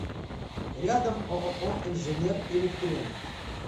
рядом ооо инженер электроник